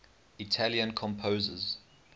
italian composers